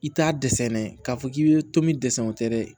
I t'a dɛsɛ nɛ k'a fɔ k'i bɛ to min dɛsɛ o tɛ dɛ